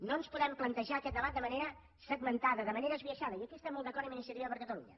no ens podem plantejar aquest debat de manera segmentada de manera esbiaixada i aquí estem molt d’acord amb iniciativa per catalunya